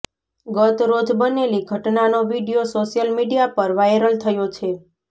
ગત રોજ બનેલી ઘટનાનો વીડિયો સોશિયલ મીડિયા પર વાયરલ થયો છે